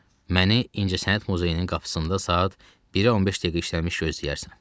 Məni İncəsənət Muzeyinin qapısında saat 1-ə 15 dəqiqə işləmiş gözləyərsən.